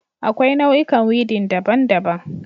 Akwai nau'ikan weeding daban-daban